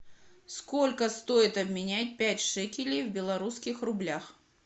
сколько стоит обменять пять шекелей в белорусских рублях